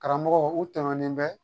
Karamɔgɔw u tɛmɛnen bɛ